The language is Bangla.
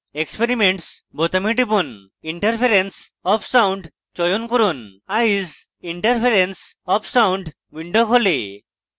experiments বোতামে টিপুন এবং interference of sound চয়ন করুন eyes: interference of sound window খোলে